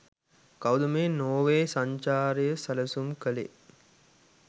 කවුද මේ නෝර්වේ සංචරය සැලසුම් කලේ?